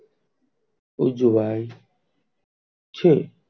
ઉજવાય છે.